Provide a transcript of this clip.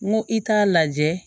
N ko i t'a lajɛ